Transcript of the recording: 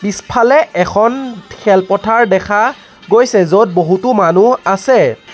পিছফালে এখন খেলপথাৰ দেখা গৈছে য'ত বহুতো মানুহ আছে।